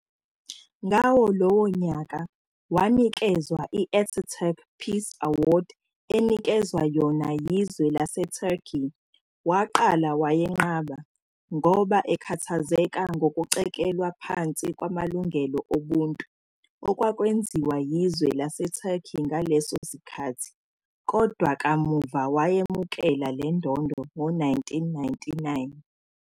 Ngawo lowo nyaka, wanikezwa i-Atatürk Peace Award enikezwa yona yizwe lase-Turkey, waqala wayenqaba, ngoba ekhathazeka ngokucikelwa phansi kwamalungelo obuntu, okwakwenziwa yizwe laseTurkey ngaleso sikkhathi, kodwa kamuva wayemukela le ndondo ngo 1999.